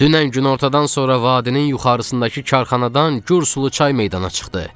"Dünən günortadan sonra vadinin yuxarısındakı karxanadan gür sulu çay meydana çıxdı."